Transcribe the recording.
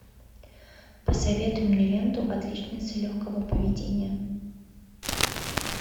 посоветуй мне ленту отличница легкого поведения